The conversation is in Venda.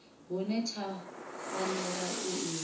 hune tsha fanela u ima